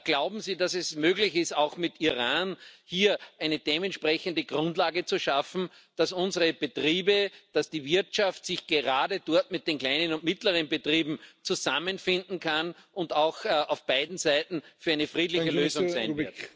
Glauben Sie, dass es möglich ist, auch mit Iran hier eine dementsprechende Grundlage zu schaffen, dass unsere Betriebe, dass die Wirtschaft sich gerade dort mit den kleinen und mittleren Betrieben zusammenfinden kann und auch auf beiden Seiten für eine friedliche Lösung sein wird?